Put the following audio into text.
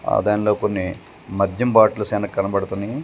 ఆ దానిలో కొన్ని మద్యం బాటిల్స్ అనే కనబడుతున్నాయ్.